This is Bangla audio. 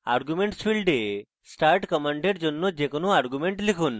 arguments ফীল্ডে start command এর জন্য যে কোনো arguments লিখুন